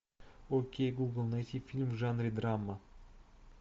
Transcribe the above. окей гугл найти фильм в жанре драма